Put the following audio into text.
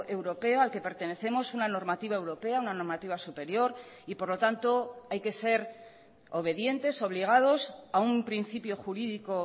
europeo al que pertenecemos una normativa europea una normativa superior y por lo tanto hay que ser obedientes obligados a un principio jurídico